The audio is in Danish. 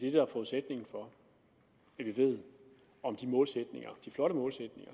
er forudsætningen for at vi ved om de målsætninger de flotte målsætninger